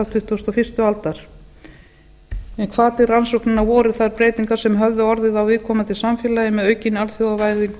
tuttugustu og fyrstu aldar hvati rannsóknanna voru þær breytingar sem höfðu orðið á viðkomandi samfélagi með aukinni alþjóðavæðingu og